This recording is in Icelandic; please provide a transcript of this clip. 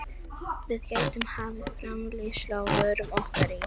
Við gætum hafið framleiðslu á vörum okkar í